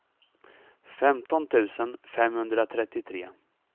femton tusen femhundratrettiotre